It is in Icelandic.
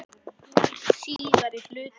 Síðari hluti